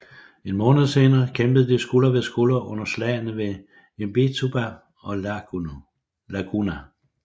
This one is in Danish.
En måned senere kæmpede de skulder ved skulder under slagene ved Imbituba og Laguna